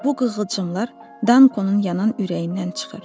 Bu qığılcımlar Dankonun yanan ürəyindən çıxır.